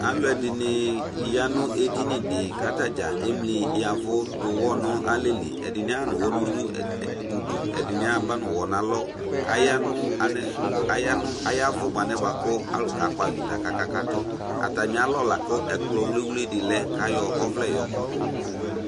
Alʋ ɛdɩnɩ ya nʋ edini dɩ,katadza emli yavʊ dʋwʊ nalɛli, ɛdɩnɩ aɣa nʋwʋ nudu ,ɛdɩnɩ aba nʋwɔ n' alɔ kayanʋ kayavʊ mʋ anɛ bʋa kʋ alʋ ka kpavɩta kakatʋAtamɩalɔ la kʋ ɛkplɔ wliwli dɩ lɛ k' ayɔ ɔvlɛ yɔ kɔdʋ